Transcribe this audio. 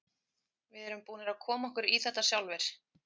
Við erum búnir að koma okkur í þetta sjálfir.